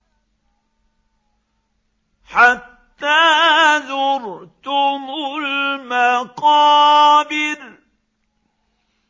حَتَّىٰ زُرْتُمُ الْمَقَابِرَ